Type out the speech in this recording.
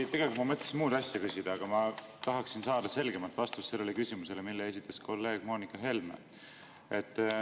Ma tegelikult mõtlesin muud asja küsida, aga ma tahaksin saada selgemat vastust sellele küsimusele, mille esitas kolleeg Moonika Helme.